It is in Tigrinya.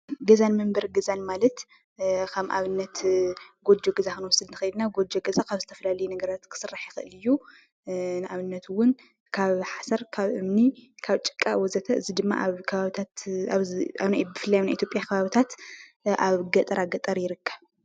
ገዛን መንበሪ ገዛን ማለት ከም ኣብነት ጎጆ ገዛ ክንወስድ ንኽእል ኢና፡፡ ጎጆ ገዛ ካብ ዝተፈላለዩ ነገራት ክስራሕ ይኽእል እዩ፡፡ ንኣብነት እውን ካብ ሓሰር፣ ካብ እምኒ፣ ካብ ጭቃ ወዘተ እዚ ድማ ኣብ ከባብታት ኣብዚ ብፍላይ ኣብ ናይ ኢ/ያ ከባቢታት ኣብ ገጠራገጠር ይርከብ፡፡